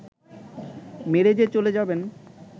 মেরে যে চলে যাবেন